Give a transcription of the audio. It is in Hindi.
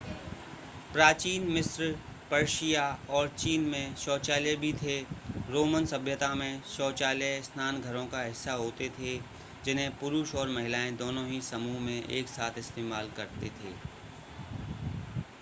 प्राचीन मिस्र पर्शिया और चीन में शौचालय भी थे रोमन सभ्यता में शौचालय स्नान घरों का हिस्सा होते थे जिन्हें पुरुष और महिलाएं दोनों ही समूह में एक साथ इस्तेमाल करते थे